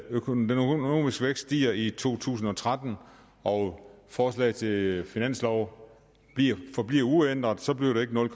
økonomiske vækst stiger i to tusind og tretten og forslaget til finanslov forbliver uændret så bliver det ikke nul